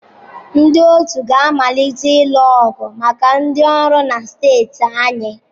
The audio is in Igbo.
Ndị otu ga-amalite ịlụ ọgụ maka ndị ọrụ na steeti anyị.